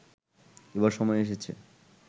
এবার সময় এসেছে